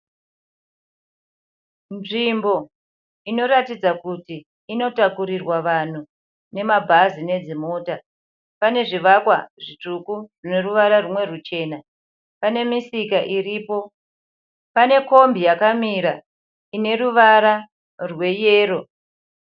Nzvimbo inoratidza kuti inotakurirwa vanhu nemabhazi nedzimota. Pane zvivakwa zvitsvuku zvine ruvara rumwe ruchena. Pane misika iripo. Pane kombi yakamira ine ruvara rweyero.